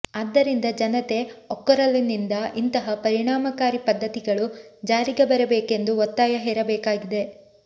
ಆದ್ದರಿಂದ ಜನತೆ ಒಕ್ಕೊರಲಿನಿಂದ ಇಂತಹ ಪರಿಣಾಮಕಾರಿ ಪದ್ಧತಿಗಳು ಜಾರಿಗೆ ಬರಬೇಕೆಂದು ಒತ್ತಾಯ ಹೇರಬೇಕಾಗಿದೆ